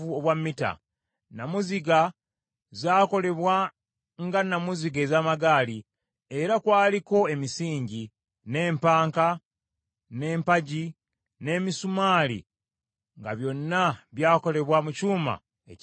Nnamuziga zaakolebwa nga nnamuziga ez’amagaali, era kwaliko emisingi, n’empanka, n’empagi, n’emisumaali nga byonna by’akolebwa mu kyuma ekisaanuuse.